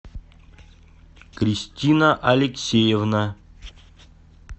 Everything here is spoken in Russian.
кристина алексеевна